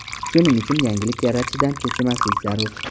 Shuning uchun yangilik yaratishdan cho‘chimaslik zarur.